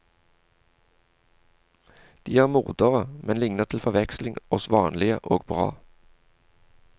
De er mordere, men ligner til forveksling oss vanlige og bra.